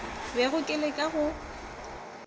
bego ke le ka go